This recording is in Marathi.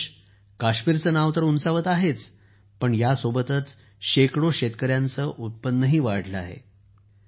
हे यश काश्मीरचे नाव तर उंचावत आहेच पण ह्या सोबतच शेकडो शेतकऱ्यांचे उत्पन्नही वाढले आहे